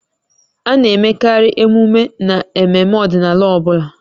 A na-emekarị emume n'ememme ọdịnala ọ bụla